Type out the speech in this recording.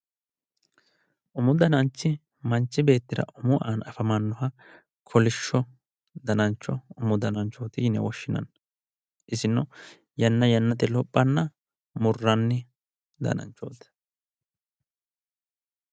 Umu dananchi manchi beettira umu aana afamanoha ikkanna kolishsho danancho umu dananchoti yinne woshshinanni isino yanna yannate lophanna murranni